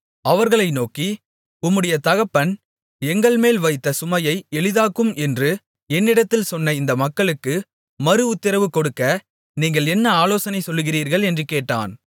அவர்களை நோக்கி உம்முடைய தகப்பன் எங்கள்மேல் வைத்த சுமையை எளிதாக்கும் என்று என்னிடத்தில் சொன்ன இந்த மக்களுக்கு மறுஉத்திரவு கொடுக்க நீங்கள் என்ன ஆலோசனை சொல்லுகிறீர்கள் என்று கேட்டான்